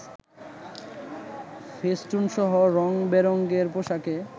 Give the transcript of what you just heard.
ফেস্টুনসহ রং-বেরংয়ের পোশাকে